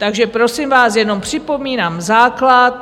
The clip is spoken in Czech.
Takže prosím vás, jenom připomínám základ.